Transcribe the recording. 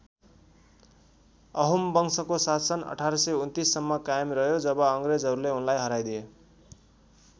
अहोम वंशको शासन १८२९ सम्म कायम रह्यो जब अङ्ग्रेजहरूले उनलाई हराइदिए।